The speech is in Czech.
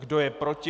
Kdo je proti?